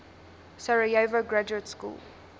sarajevo graduate school